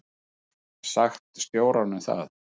Ég hef sagt stjóranum það.